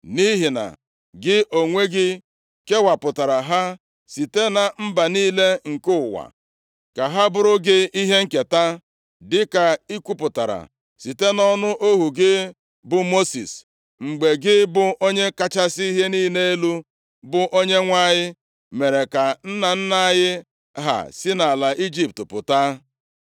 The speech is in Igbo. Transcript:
Nʼihi na gị onwe gị kewapụtara ha site na mba niile nke ụwa ka ha bụụrụ gị ihe nketa, dịka ị kwupụtara site nʼọnụ ohu gị bụ Mosis, mgbe gị bụ Onye kachasị ihe niile elu, bụ Onyenwe anyị mere ka nna nna anyị ha si nʼala Ijipt pụta.”